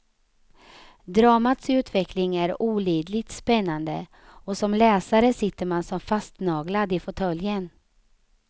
Dramats utveckling är olidligt spännande och som läsare sitter man som fastnaglad i fåtöljen.